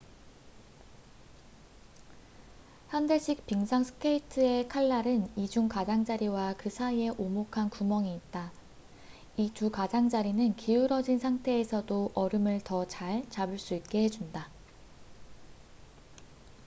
현대식 빙상 스케이트의 칼날은 이중 가장자리와 그 사이에 오목한 구멍이 있다 이 두 가장자리는 기울어진 상태에서도 얼음을 더 잘 잡을 수 있게 해준다